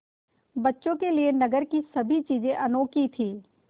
बच्चों के लिए नगर की सभी चीज़ें अनोखी थीं